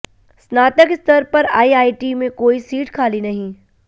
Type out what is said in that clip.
स्नातक स्तर पर आईआईटी में कोई सीट खाली नहीं